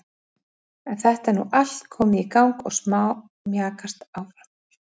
En þetta er nú allt komið í gang og smámjakast áfram.